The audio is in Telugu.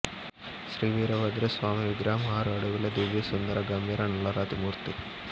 శ్రీ వీరభద్ర స్వామి విగ్రహం ఆరు అడుగుల దివ్య సుందర గంభీర నల్లరాతి మూర్తి